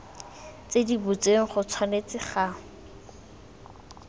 di butsweng go tshwanetse ga